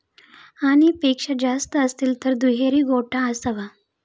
आणि पेक्षा जास्त असतील तर दुहेरी गोठा असावा